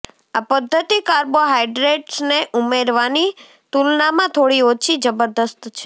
આ પદ્ધતિ કાર્બોહાઈડ્રેટ્સને ઉમેરવાની તુલનામાં થોડી ઓછી જબરજસ્ત છે